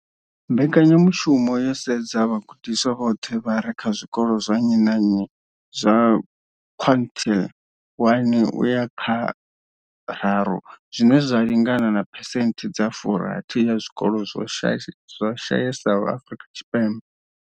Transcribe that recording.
Mbekanyamushumo yo sedza vhagudiswa vhoṱhe vha re kha zwikolo zwa nnyi na nnyi zwa quintile 1 uya kha tharu, zwine zwa lingana na phesenthe dza 60 ya zwikolo zwi shayesaho Afrika Tshipembe.